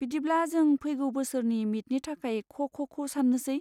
बिदिब्ला जों फैगौ बोसोरनि मिटनि थाखाय ख' ख'खौ सान्नोसै।